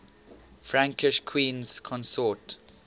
frankish queens consort